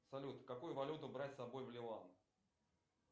салют какую валюту брать с собой в ливан